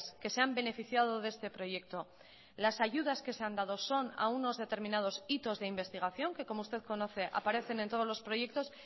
que se han beneficiado de este proyecto las ayudas que se han dado son a unos determinados hitos de investigación que como usted conoce aparecen en todos los proyectos